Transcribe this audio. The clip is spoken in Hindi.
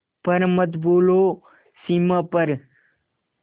पर मत भूलो सीमा पर